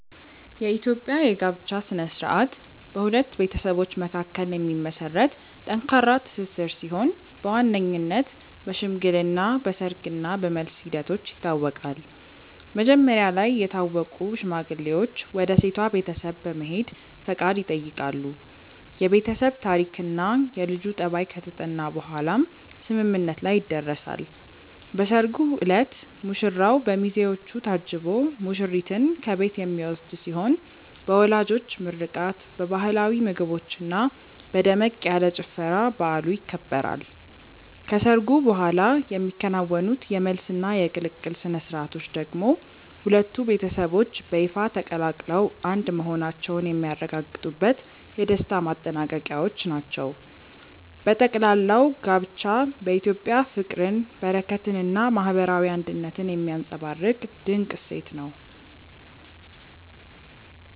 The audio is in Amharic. የኢትዮጵያ የጋብቻ ሥነ ሥርዓት በሁለት ቤተሰቦች መካከል የሚመሰረት ጠንካራ ትስስር ሲሆን በዋነኝነት በሽምግልና፣ በሰርግ እና በመልስ ሂደቶች ይታወቃል። መጀመሪያ ላይ የታወቁ ሽማግሌዎች ወደ ሴቷ ቤተሰብ በመሄድ ፈቃድ ይጠይቃሉ፤ የቤተሰብ ታሪክና የልጁ ጠባይ ከተጠና በኋላም ስምምነት ላይ ይደረሳል። በሰርጉ ዕለት ሙሽራው በሚዜዎች ታጅቦ ሙሽሪትን ከቤት የሚወስድ ሲሆን በወላጆች ምርቃት፣ በባህላዊ ምግቦችና በደመቅ ያለ ጭፈራ በዓሉ ይከበራል። ከሰርጉ በኋላ የሚከናወኑት የመልስና የቅልቅል ሥነ ሥርዓቶች ደግሞ ሁለቱ ቤተሰቦች በይፋ ተቀላቅለው አንድ መሆናቸውን የሚያረጋግጡበት የደስታ ማጠናቀቂያዎች ናቸው። በጠቅላላው ጋብቻ በኢትዮጵያ ፍቅርን፣ በረከትንና ማህበራዊ አንድነትን የሚያንፀባርቅ ድንቅ እሴት ነው።